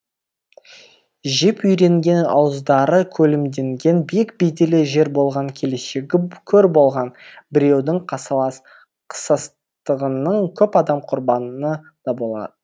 жеп үйренген ауыздары көлімденген биік беделі жер болған келешегі көр болған біреудің қасалас қысастығының көп адам құрбаны да болар